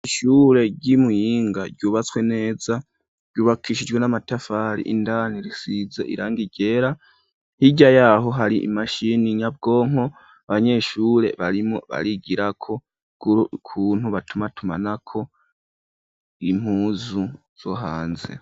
Ishure ryi Muhinga ryubatswe neza ryubakishijwe n'amatafari indani risize irangi ryera, hirya yaho hari imashini nyabwonko abanyeshure barimwo barigirako ukuntu batuma tumanako impuzu zo hanze.